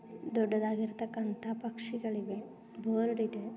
ದೊಡ್ಡದಾಗಿರತ್ತಕಂತ ಪಕ್ಷಿಗಳಿವೆ ಬೋರ್ಡ್ ಇದೆ.